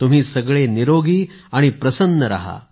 तुम्ही सगळे निरोगी आणि प्रसन्न रहा